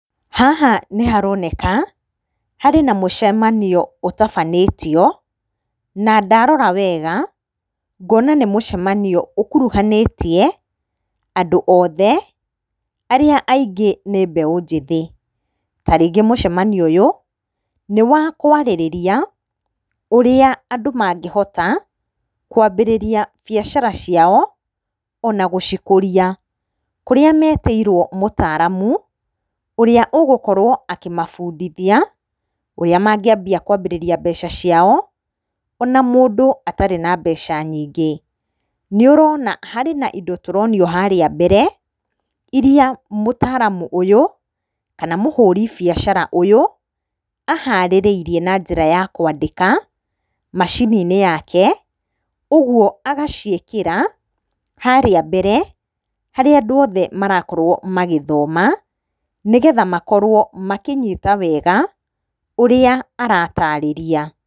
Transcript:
Haha nĩ haroneka harĩ na mũcamanio ũtabanĩtio, na ndarora wega ngona nĩ mũcamanio ũkuruhanĩtie andũ othe arĩa aingĩ nĩ mbeũ njĩthĩ. Ta rĩngĩ mũcamanio ũyũ, nĩ wa kũarĩrĩria ũrĩa andũ mangĩhota kũambĩrĩria biacara ciao, ona gũcikũria. Kũrĩa metĩirwo mũtaaramu, ũrĩa ũgũkorwo akĩmabundithia ũríĩ mangĩambia kũambĩrĩra mbeca ciao, ona mũndũ atarĩ na mbeca nyingĩ. Nĩ ũrona harĩ na indo tũronio harĩa mbere, iria mũtaaramu ũyũ kana mũhũri biacara ũyũ aharĩrĩirie na njĩra ya kũandĩka macini-inĩ yake, ũguo agaciĩkĩra harĩa mbere harĩa andũ othe marakorwo magĩthoma, nĩ getha makorwo makĩnyita wega ũrĩa aratarĩrĩa.